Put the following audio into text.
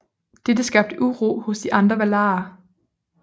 Dette skabte uro hos de andre valarer